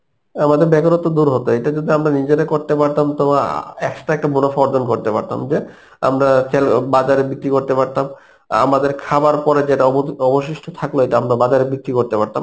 আমাদের বেকারত্ব দূর হতো এটা যদি আমরা নিজেরা করতে পারতাম তোমার আহ extra একটা মুনাফা অর্জন করতে পারতাম যে আমরা চাইলে বাজারে বিক্রি করতে পারতাম আমাদের খাবার পরে যেটা অবদি~ অবশিষ্ট থাকল এটা আমরা বাজারে বিক্রি করতে পারতাম